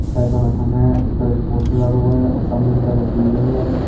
साइडों में थंब है उसपर एक पोस्टर लगा हुआ गौर सामने की तरफ एक बिल्डिंग है।